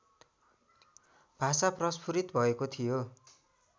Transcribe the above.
भाषा प्रस्फुरित भएको थियो